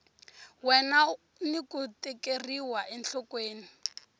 wena ni ku tekeriwa enhlokweni